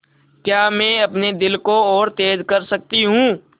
क्या मैं अपने दिल को और तेज़ कर सकती हूँ